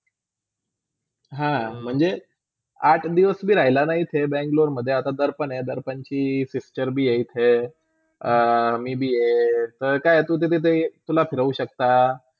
हा, म्हणजे आठ दिवस भी राहिलाना इथे Bangalore मधे आता दर्पण आहे दर्पंची picture भी आहे इथे मी, तर तू काय आहे इथे एकतला राहू शक्ता.